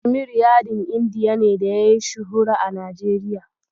Kashmir yadin Indiya ne da yayi shuhura a Najeriya.